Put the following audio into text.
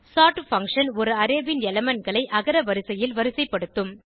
sort function ஒரு array ன் elementகளை அகர வரிசையில் வரிசைப்படுத்தும்